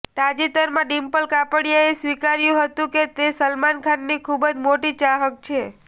તાજેતરમાં ડિમ્પલ કાપડિયાએ સ્વીકાર્યું હતું કે તે સલમાન ખાનની ખૂબ મોટી ચાહક છે